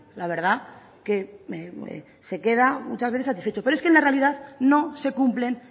la verdad que se queda muchas veces satisfecho pero es que en la realidad no se cumplen